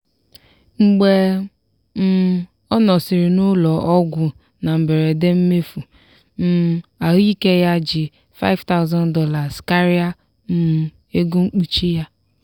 mgbe um ọ nọsịrị n'ụlọ ọgwụ na mberede mmefu um ahụike ya ji $5000 karịa um ego mkpuchi ya.